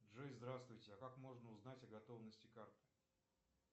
джой здравствуйте а как можно узнать о готовности карты